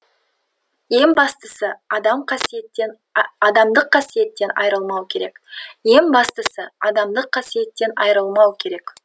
ең бастысы адам қасиеттен адамдық қасиеттен айырылмау керек ең бастысы адамдық қасиеттен айырылмау керек